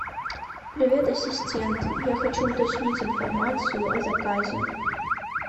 привет ассистент я хочу уточнить информацию о заказе